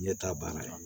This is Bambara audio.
Ɲɛta banna